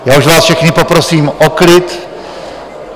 Já už vás všechny poprosím o klid.